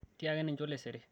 tiaki ninje olesere